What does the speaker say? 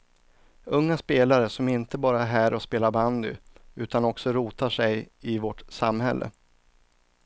Unga spelare som inte bara är här och spelar bandy utan också rotar sig i vårt samhälle.